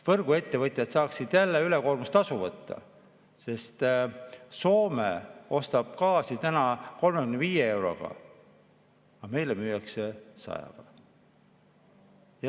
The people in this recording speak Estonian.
Võrguettevõtjad saaksid jälle ülekoormustasu võtta, sest Soome ostab gaasi täna 35 euroga, aga meile müüakse 100‑ga.